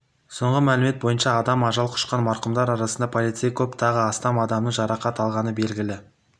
соңғы мәлімет бойынша адам ажал құшқан марқұмдар арасында полицей көп тағы астам адамның жарақат алғаны белгілі